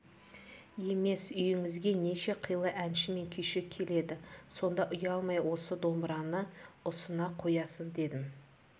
емес үйіңізге неше қилы әнші мен күйші келеді сонда ұялмай осы домбыраны ұсына қоясыз дедім